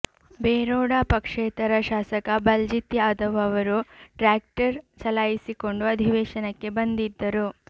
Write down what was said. ಬೆರೋಡ ಪಕ್ಷೇತರ ಶಾಸಕ ಬಲ್ಜಿತ್ ಯಾದವ್ ಅವರು ಟ್ರ್ಯಾಕ್ಟರ್ ಚಲಾಯಿಸಿಕೊಂಡು ಅಧಿವೇಶನಕ್ಕೆ ಬಂದಿದ್ದರು